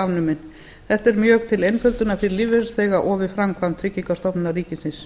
afnumin þetta er mjög til einföldunar fyrir lífeyrisþega og við framkvæmd tryggingastofnunar ríkisins